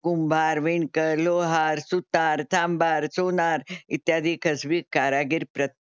कुंभार, विणकर, लोहार, सुतार, चांभार, सोनार, इत्यादी कसबी कारागीर प्रत्येक,